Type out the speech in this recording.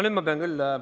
Nüüd ma pean küll ...